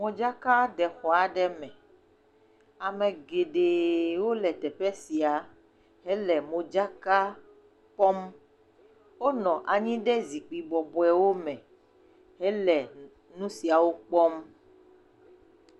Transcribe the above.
Modzkaɖexɔ aɖe me. Ame geɖewo le teƒe sia hele modzaka kpɔm. wonɔ anyi ɖe zikpui bɔbɔewo me hele nu siawo kpɔ.